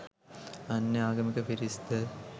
අන්‍ය ආගමික පිරිස් ද